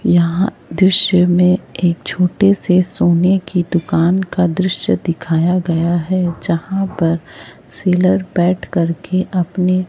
यहां दृश्य में एक छोटे से सोने की दुकान का दृश्य दिखाया गया हैं यहां पर सेलर बैठ कर के अपनी--